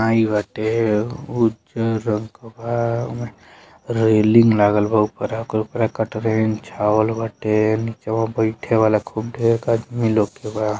आइल बाटे उज्जर रंग के बा ओमे रेलिंग लागलबा। उपरा ओकर उपरा छावल बाटे। निचवा बैठे वाला खूब ढेड़ आदमी लोग के बा।